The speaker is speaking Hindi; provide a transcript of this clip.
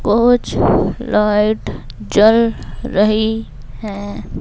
कुछ लाइट जल रही है।